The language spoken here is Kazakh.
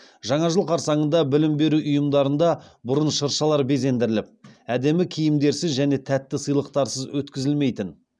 жаңа жыл қарсаңында білім беру ұйымдарында бұрын шыршалар безендіріліп әдемі киімдерсіз және тәтті сыйлықтарсыз өткізілмейтін